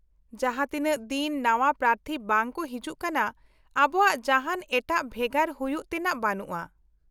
-ᱡᱟᱦᱟᱸ ᱛᱤᱱᱟᱹᱜ ᱫᱤᱱ ᱱᱟᱣᱟ ᱯᱨᱟᱛᱷᱤ ᱵᱟᱝ ᱠᱚ ᱦᱤᱡᱩᱜ ᱠᱟᱱᱟ ,ᱟᱵᱚᱣᱟᱜ ᱡᱟᱦᱟᱱ ᱮᱴᱟᱜ ᱵᱷᱮᱜᱟᱨ ᱦᱩᱭᱩᱜ ᱛᱮᱱᱟᱜ ᱵᱟᱹᱱᱩᱜᱼᱟ ᱾